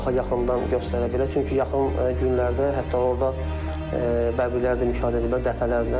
Çünki yaxın günlərdə hətta orda bəbirlər də müşahidə ediblər dəfələrlə.